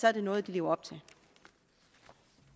er det noget de lever